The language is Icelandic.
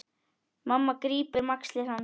Mamma grípur um axlir hans.